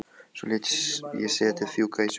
Svo lét ég settið fjúka í sumar.